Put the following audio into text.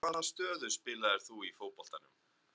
Hvaða stöðu spilaðir þú í fótboltanum?